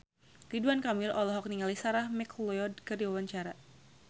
Ridwan Kamil olohok ningali Sarah McLeod keur diwawancara